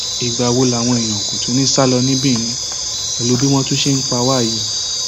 ìgbà wo làwọn èèyàn kò tún ní í sá lọ sí benin pẹlú bí wọn ṣe ń pa wá yìí